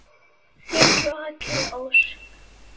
Þín Rakel Ósk.